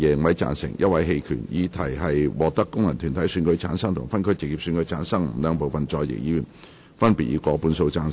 我認為議題獲得經由功能團體選舉產生及分區直接選舉產生的兩部分在席議員，分別以過半數贊成。